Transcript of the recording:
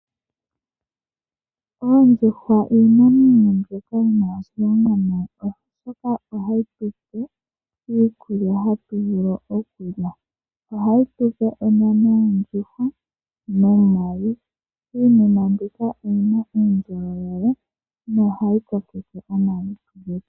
Oondjuhwa iinamwenyo mbyoka yina oshilonga oshoka ohayi tupe iikulya hatu vulu onyama nomayi ,onyama yondjuhwa oyina uundjolowele nohayi kokeke omalutu.